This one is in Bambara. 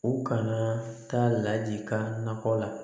U kana taa ladikan nakɔ la